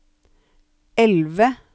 elve